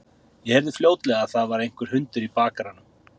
Ég heyrði fljótlega að það var einhver hundur í bakaranum.